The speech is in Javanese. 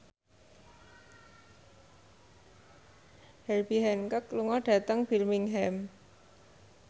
Herbie Hancock lunga dhateng Birmingham